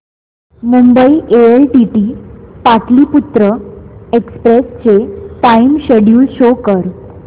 Mumbai LTT Pataliputra express चे time schedule show कर